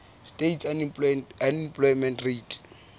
states unemployment rate